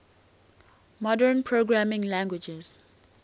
modern programming languages